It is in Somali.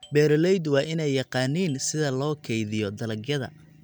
Beeraleydu waa inay yaqaaniin sida loo kaydiyo dalagyada.